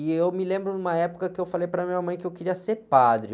E eu me lembro de uma época que eu falei para a minha mãe que eu queria ser padre.